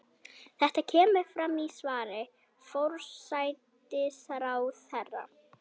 Þetta kemur fram í svari forsætisráðherra